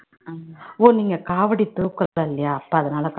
ஓ நீங்க காவடி தூக்கறது இல்லையா அப்ப அதனால